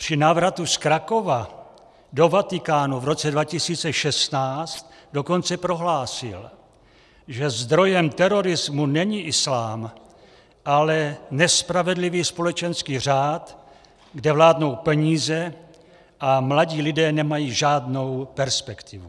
Při návratu z Krakova do Vatikánu v roce 2016 dokonce prohlásil, že zdrojem terorismu není islám, ale nespravedlivý společenský řád, kde vládnou peníze a mladí lidé nemají žádnou perspektivu.